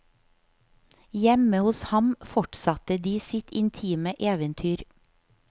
Hjemme hos ham fortsatte de sitt intime eventyr.